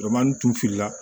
tun tu fili la